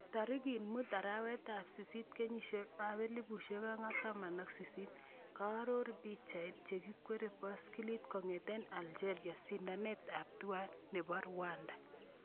Tarikit muut arawet ab sisit 2018 kearor pichait, chekwerie baiskilit kong'ete Algeria eng sindanet ab Tour du Rwanda